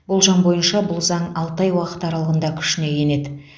болжам бойынша бұл заң алты ай уақыт аралығында күшіне енеді